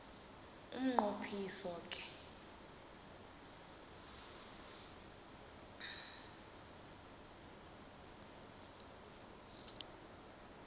umnqo phiso ke